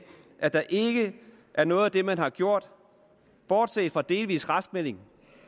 at der ikke er noget af det man har gjort bortset fra delvis raskmelding